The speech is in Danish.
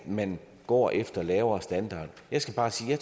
man går efter en lavere standard jeg skal bare sige at